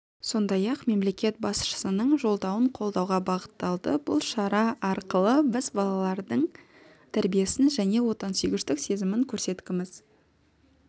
сондай-ақ мемлекет басшысының жолдауын қолдауға бағытталды бұл шара арқылы біз балалардың тәрбиесін және отансүйгіштік сезімін көрсеткіміз